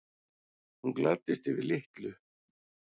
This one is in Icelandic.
Hún gladdist yfir litlu.